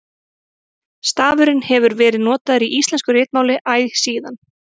Stafurinn hefur verið notaður í íslensku ritmáli æ síðan.